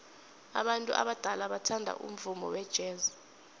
abantu abadala bathanda umvumo wejazz